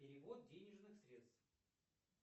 перевод денежных средств